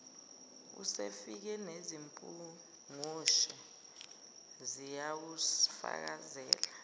usefile nezimpungushe ziyakufakazela